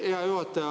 Hea juhataja!